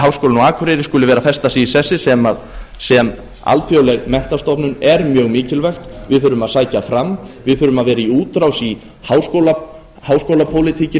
á akureyri skuli vera að festa sig í sessi sem alþjóðleg menntastofnun er mjög mikilvægt við þurfum að sækja fram við þurfum að vera í útrás í háskólapólitíkinni